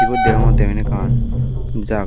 ebot degongotte eben ekan jaga.